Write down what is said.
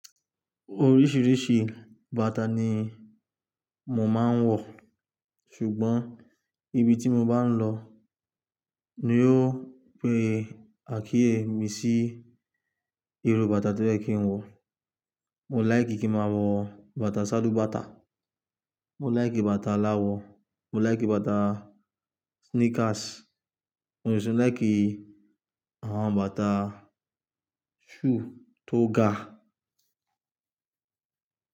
Oríṣiríṣi bàtà ni mò máa ń wọ̀. Ṣùgbọ́n ibi tí mo bá ń lọ ni yóò pe àkíyè misí irú bàtà tó yẹ kí n wọ̀. Mò láì kí kí máa wọ bàtà salú bàtà, mo láì kí bàtà aláwọ̀, mo láì kí bàtà sneakers, mo sì ń láì kí àwọn bàtà shoe tó ga.